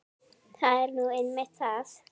Það er nú einmitt það!